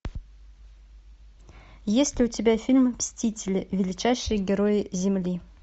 есть ли у тебя фильм мстители величайшие герои земли